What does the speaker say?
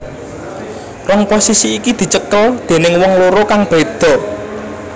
Rong posisi iki dicekel déning wong loro kang beda